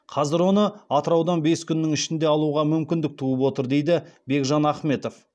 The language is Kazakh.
қазір оны атыраудан бес күннің ішінде алуға мүмкіндік туып отыр дейді бекжан ахметов